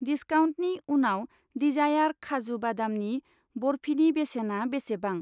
दिस्काउन्टनि उनाव दिजायार खाजु बादामनि बरफिनि बेसेना बेसेबां?